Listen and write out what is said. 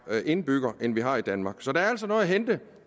indbygger end vi har i danmark så der er altså noget at hente